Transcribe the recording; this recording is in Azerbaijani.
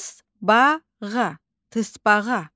Tısbağa, tısbağa.